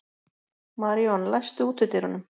Maríon, læstu útidyrunum.